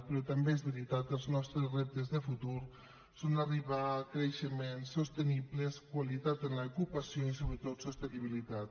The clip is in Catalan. però també és veritat els nostres reptes de futur són arribar a creixements sostenibles qualitat en l’ocupació i sobretot sostenibilitat